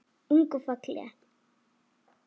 Ung og falleg.